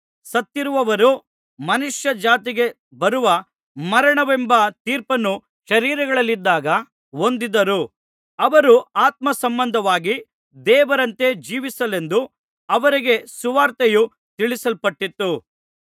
ಸತ್ತಿರುವವರು ಮನುಷ್ಯ ಜಾತಿಗೆ ಬರುವ ಮರಣವೆಂಬ ತೀರ್ಪನ್ನು ಶರೀರಗಳಲ್ಲಿದ್ದಾಗ ಹೊಂದಿದರು ಅವರು ಆತ್ಮ ಸಂಬಂಧವಾಗಿ ದೇವರಂತೆ ಜೀವಿಸಲೆಂದು ಅವರಿಗೂ ಸುವಾರ್ತೆಯು ತಿಳಿಸಲ್ಪಟ್ಟಿತು